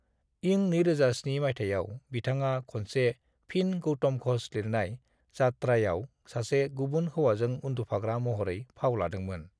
इं 2007 मायथाइयाव बिथाङा खनसे फिन गौतम घोष लिरनाय यात्रायाव सासे गुबुन हौवाजों उन्दुफाग्रा महरै फाव लादोंमोन।